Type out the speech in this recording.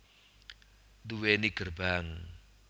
Duweni gerbang